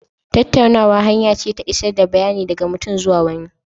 Tattaunawa hanya ce ta isar da bayanai daga mutum zuwa wani.